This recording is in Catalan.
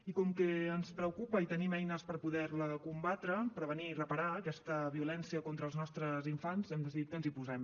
i com que ens preocupa i tenim eines per poder la combatre prevenir i reparar aquesta violència contra els nostres infants hem decidit que ens hi posem